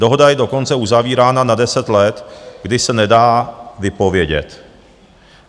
Dohoda je dokonce uzavírána na 10 let, kdy se nedá vypovědět.